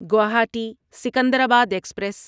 Guwahati Secunderabad express